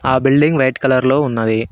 ఆ building white colour లో ఉన్నది.